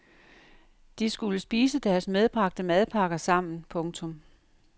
De skulle spise deres medbragte madpakker sammen. punktum